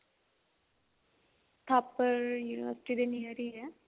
Thapar university ਦੇ near ਹੀ ਹੈ